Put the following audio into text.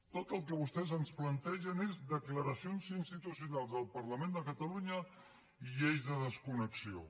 tot el que vostès ens plantegen és declaracions institucionals del parlament de catalunya i lleis de desconnexió